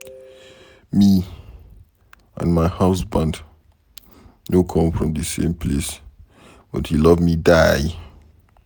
Me and my husband no come from the same place but he love me die